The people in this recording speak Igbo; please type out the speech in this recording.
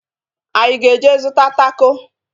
Anyị aga eje zụta tako?